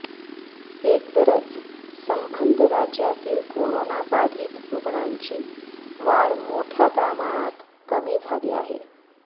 एकंदरच संबंध राज्यातील कोरोना बाधित रुग्णांची वाढ मोठ्या प्रमाणात कमी झाली आहे